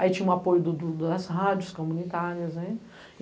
Aí tinha o apoio do, do, do das rádios comunitárias.